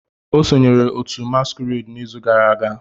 O sonyeere otu masquerade n'izu gara aga.